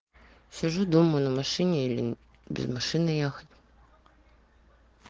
сижу дома на машине или без машины ехать